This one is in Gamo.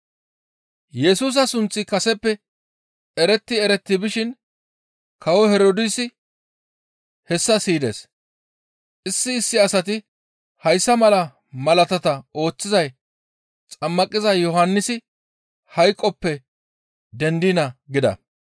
Yesusa sunththi kaseppe eretti eretti bishin kawo Herdoosi hessa siyides. Issi issi asati, «Hayssa mala malaatata ooththizay Xammaqiza Yohannisi hayqoppe dendiina» gida.